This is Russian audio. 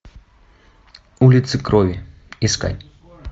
улица крови искать